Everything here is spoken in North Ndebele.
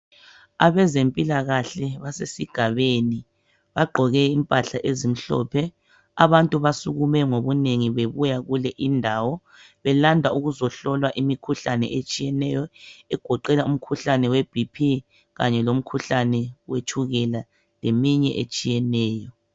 abezempilakahle basesigabeni bagqoke impahla ezimhlophe abantu basukume ngobunengi bebuya kule indawo belanda ukuzohlolwa imikhuhlane etshiyeneyo egoqela umkhuhlane we BP kanye lomkhuhlane wetshukela leminye etshiyeneyo